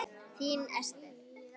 Þín Esther.